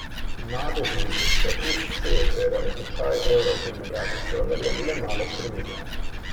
Na deviznih trgih se je tečaj evra v primerjavi z dolarjem le malo spreminjal.